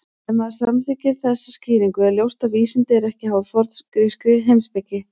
Ef maður samþykkir þessa skýringu er ljóst að vísindi eru ekki háð forngrískri heimspeki.